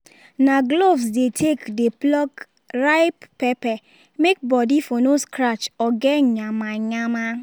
na gloves dey take dey pluck ripe pepper may body for no scratch or get nyamanyama